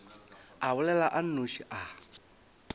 a bolela a nnoši a